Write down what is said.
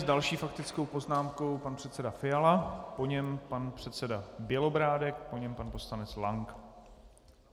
S další faktickou poznámkou pan předseda Fiala, po něm pan předseda Bělobrádek, po něm pan poslanec Lank.